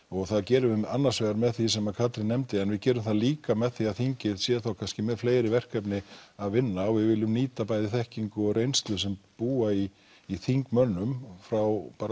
og það gerum við annars vegar með því sem Katrín nefndi en við gerum það líka með því að þingið sé kannski með fleiri verkefni að vinna og við viljum nýta bæði þekkingu og reynslu sem býr í í þingmönnum frá